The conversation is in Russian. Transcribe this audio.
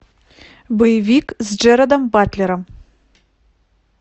боевик с джерардом батлером